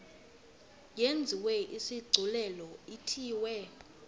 yenziwe isigculelo ithiwe